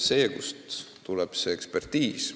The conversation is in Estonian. Kust tuleb siis see asjatundmine?